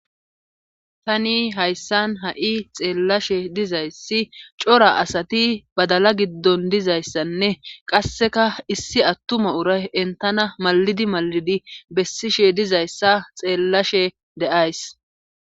tani hayssan ha7i xeellashe dizayssi cora asati badala giddon dizayssanne qasseka issi attuma uray entana mallidi malidi bessishe dizayssa xeellashe de7ays